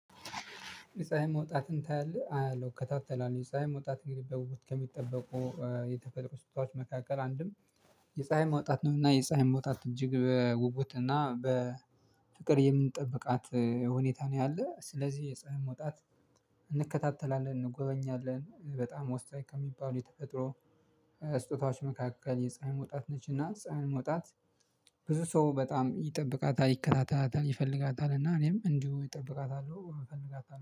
የፀሀይ መውጣትን ታያለህ? አያለሁ እከታተላለው የፀሀይ መውጣት እንግዲህ በውት ከሚጠበቁ የተፈጥሮ ስታዋች መካከል አንድም የፀሀይ መውጣት ነውና የፀሀይ መውጣት እጅግ በውጉት እና በፍቅር የምንጠብቃት ሁኔታ ነው። ያለው ስለዚህ የፀሀይ መውጣት እንከታተላለን እንጎበኛለን በጣም ወስጥ ከሚባሉ የተፈጥሮ ስጦታዎች መካከል የፀሀይ መውጣት ነች። እና ፀሀይ መውጣት ብዙ ሰው በጣም ይጠብቃታል ይከታታታል ይፈልጋታል እና እኔም እንዲሁ ይጠብቃታል እፈልጋታለሁ